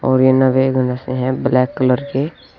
और ये नवे से हैं ब्लैक कलर के।